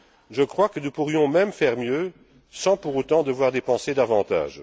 Je crois que nous pourrions même faire mieux sans pour autant devoir dépenser davantage.